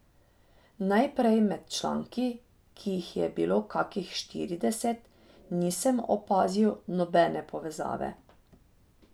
Najprej med članki, ki jih je bilo kakih štirideset, nisem opazil nobene povezave.